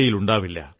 യിലുണ്ടാവില്ല